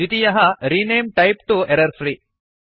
द्वितीयः रेणमे टाइप तो एरर्फ्री